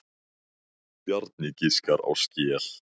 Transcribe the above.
Bjarni giskar á skel.